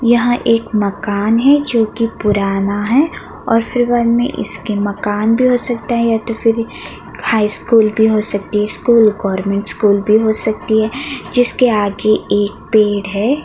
यहाँ एक मकान है जो की पुराना है और में इसके मकान भी हो सकता है या तो फिर हाई स्कूल भी हो सकती है स्कूल गॉरमेंट स्कूल भी हो सकती है जिसके आगे पेड़ है।